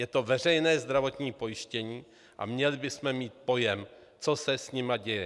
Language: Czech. Je to veřejné zdravotní pojištění a měli bychom mít pojem, co se s nimi děje.